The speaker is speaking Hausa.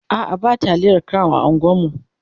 a'a ba taliyar crown a unguwanmu